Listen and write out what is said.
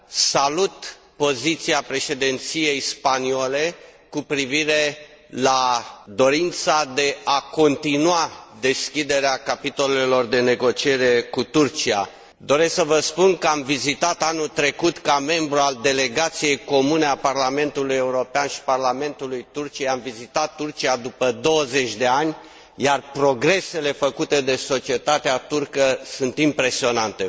Salut poziția Președinției spaniole cu privire la dorința de a continua deschiderea capitolelor de negociere cu Turcia. Doresc să vă spun că am vizitat anul trecut, ca membru al delegației comune a Parlamentului European și parlamentului Turciei, am vizitat Turcia după 20 de ani, iar progresele făcute de societatea turcă sunt impresionante